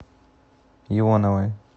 ионовой